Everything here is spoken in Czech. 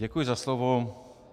Děkuji za slovo.